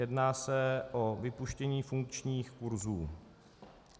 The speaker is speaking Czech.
Jedná se o vypuštění funkčních kurzů.